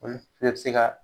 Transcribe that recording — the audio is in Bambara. Olu bɛ bi se ka